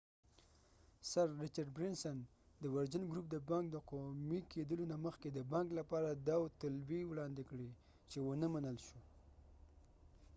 د سر رچرډ برینسنsir richard branson ورجن ګروپ دبانک د قومی کېدلو نه مخکې د بانک لپاره داوطلبي وراندي کړي و چې ونه منل شو